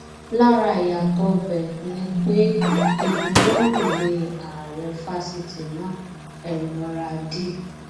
lára ìyàtọ ibẹ ni pé ìbuwọlùwéè ààrẹ fásitì náà elnora d